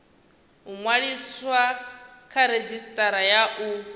ṅwaliswa kha redzhisitara ya u